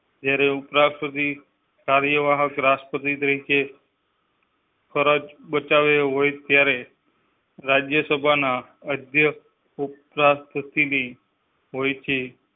જ્યારે ઉપરાષ્ટ્રપતિ કાર્યવાહક રાષ્ટ્રપતિ તરીકે. ફરજ બચાવ્યા હોય ત્યારે રાજ્યસભા ના અધ્યક્ષ ઉપરાંત. હોય છે